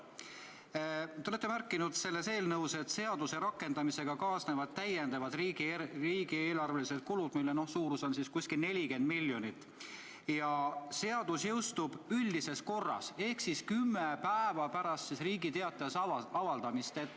Te olete eelnõus märkinud, et seaduse rakendamisega kaasnevad täiendavad riigieelarvelised kulud, mille suurus on umbes 40 miljonit eurot, ja seadus jõustub üldises korras ehk siis kümme päeva pärast Riigi Teatajas avaldamist.